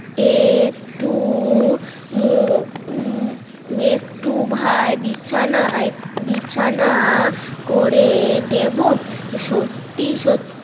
এ একটু একটু ভাই বিছানা বিছানা করে দেবো সত্যি সত্যি